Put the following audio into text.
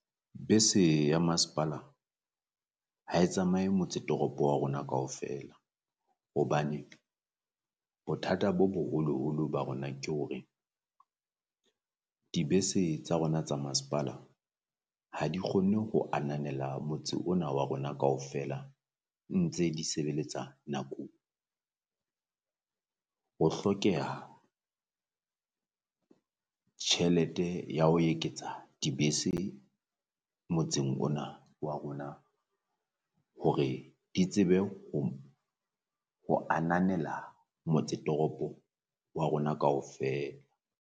Bese ya masepala ha e tsamaye motse toropo wa rona kaofela, hobane bothata bo boholoholo ba rona ke hore dibese tsa rona tsa masepala ha di kgonne ho ananela motse ona wa rona kaofela ntse di sebeletsa nakong. Ho hlokeha tjhelete ya ho eketsa dibese motseng ona wa rona hore di tsebe ho ho ananela motse toropo wa rona kaofela.